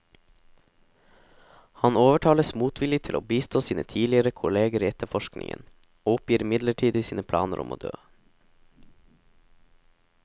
Han overtales motvillig til å bistå sine tidligere kolleger i etterforskningen, og oppgir midlertidig sine planer om å dø.